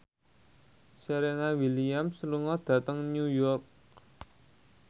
Serena Williams lunga dhateng New York